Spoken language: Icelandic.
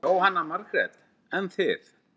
Jóhanna Margrét: En þið?